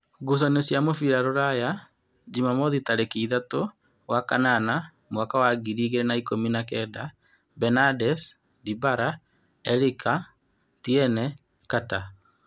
Ngucanio cia mũbira Ruraya Jumamothi tarĩki ithatu wa kanana mwaka wa ngiri igĩrĩ na-ikũmi na kenda: Benades, Ndibala, Erĩki, Tiene, Kata,